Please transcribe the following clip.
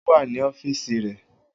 O wa ni ọfiisi rẹ